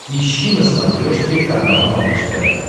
ищи на смотрешке канал малыш тв